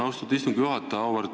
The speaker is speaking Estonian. Austatud istungi juhataja!